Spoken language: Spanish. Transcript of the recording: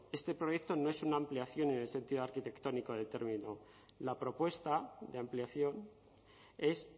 este proyecto no es una ampliación en el sentido arquitectónico determinado la propuesta de ampliación es